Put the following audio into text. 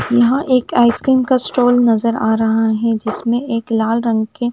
यह एक आइसक्रीम का स्टॉल नजर आ रहा है जिसमें एक लाल रंग के--